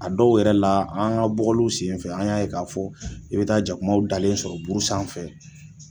A dɔw yɛrɛ la an ka bɔgɔliw senfɛ an y'a ye k'a fɔ i bɛ taa jakumaw dalen sɔrɔ buru sanfɛ.